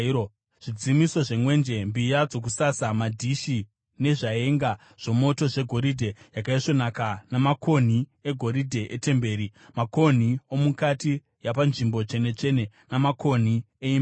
zvidzimiso zvemwenje, mbiya dzokusasa, madhishi nezvaenga zvomoto zvegoridhe yakaisvonaka namakonhi egoridhe, etemberi: makonhi omukati yapaNzvimbo Tsvene-tsvene namakonhi eimba huru.